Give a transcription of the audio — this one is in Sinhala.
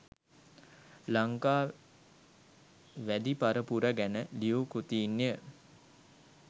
ලංකා වැදි පරපුර ගැන ලියූ කෘතීන්ය.